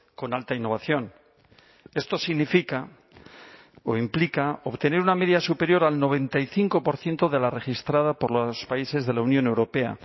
con alta innovación esto significa o implica obtener una media superior al noventa y cinco por ciento de la registrada por los países de la unión europea